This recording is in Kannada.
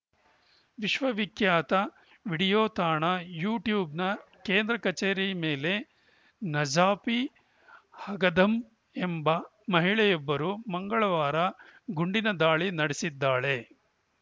ವಿಶ್ವವಿಖ್ಯಾತ ವಿಡಿಯೋ ತಾಣ ಯೂಟ್ಯೂಬ್‌ನ ಕೇಂದ್ರ ಕಚೇರಿ ಮೇಲೆ ನಜಾಫಿ ಅಘಧಂ ಎಂಬ ಮಹಿಳೆಯೊಬ್ಬರು ಮಂಗಳವಾರ ಗುಂಡಿನ ದಾಳಿ ನಡೆಸಿದ್ದಾಳೆ